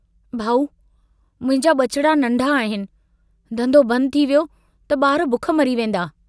भाउ मुंहिंजा बचिड़ा नन्ढा आहिनि, धन्धो बंद थी वियो त बार बुख मरी वेन्दा।